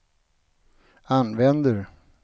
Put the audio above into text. använder